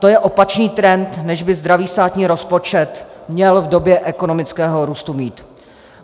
To je opačný trend, než by zdravý státní rozpočet měl v době ekonomického růstu mít.